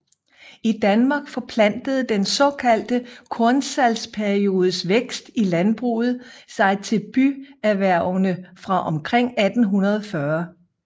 I Danmark forplantede den såkaldte kornsalgsperiodes vækst i landbruget sig til byerhvervene fra omkring 1840